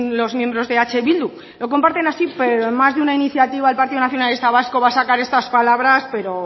los miembros de eh bildu lo comparten así pero en más de una iniciativa el partido nacionalista vasco va a sacar estas palabras